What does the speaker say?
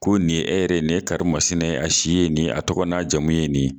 Ko nin ye e yɛrɛ, nin ye karima Sina ye, a si ye nin ye, a tɔgɔ n'a jamumu ye nin.